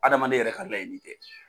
Adamaden yɛrɛ ka laɲini tɛ.